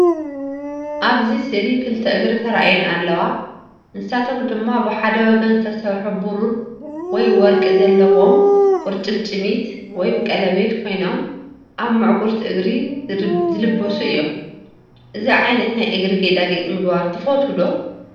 ኣብዚ ስእሊ ክልተ እግሪ ተራእየን ኣለዋ። ንሳቶም ድማ ብሓደ ወገን ዝተሰርሑ ብሩር ወይ ወርቂ ዘለዎም ቁርጭምጭሚት (ቀለቤት) ኮይኖም ኣብ ምዕጉርቲ እግሪ ዝለብሱ እዮም። እዚ ዓይነት ናይ እግሪ ጌጣጌጥ ምግባር ትፈትዉ ዶ?